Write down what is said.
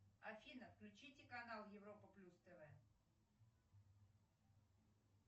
афина включите канал европа плюс тв